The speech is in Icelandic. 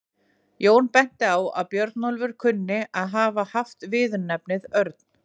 Jón benti á að Björnólfur kunni að hafa haft viðurnefnið örn.